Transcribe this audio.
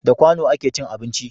Da kwano a ke cin abinci